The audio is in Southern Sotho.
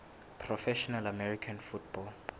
professional american football